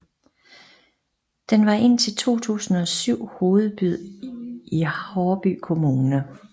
Den var indtil 2007 hovedby i Haarby Kommune